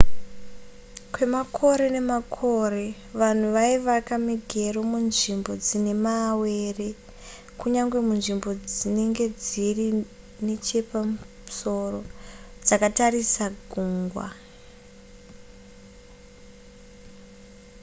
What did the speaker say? kwemakore nemakore vanhu vaivaka migero munzvimbo dzine mawere kunyange munzvimbo dzinenge dziri nechepamusoro dzakatarisa gungwa